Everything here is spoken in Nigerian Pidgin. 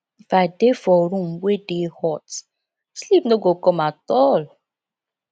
if i dey for room wey dey hot sleep no go come at all